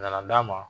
Nana d'a ma